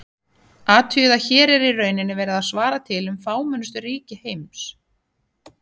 Athugið að hér er í rauninni verið að svara til um fámennustu ríki í heimi.